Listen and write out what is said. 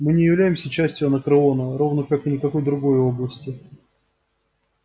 мы не являемся частью анакреона равно как и никакой другой области